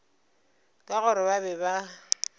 ka gore ba be ba